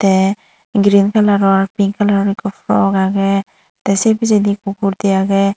te green color ar pink color ekko porok agey te se picchendi ekko murthi agey.